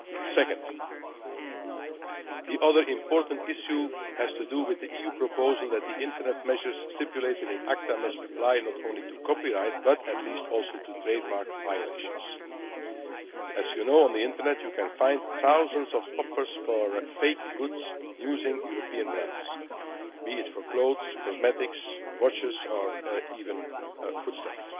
Secondly, the other important issue has to do with the EU proposal that the Internet measures stipulated in ACTA must apply not only to copyright but at least also to trademark violations. As you know, on the Internet, you can find thousands of offers for fake goods using European brands, be it for clothes, cosmetics, watches or even foodstuffs.